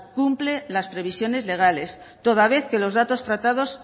cumple las previsiones legales toda vez que los datos tratados